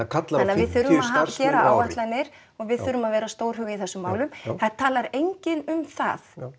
við þurfum að gera áætlanir og við þurfum að vera stórhuga í þessum málum það talar enginn um það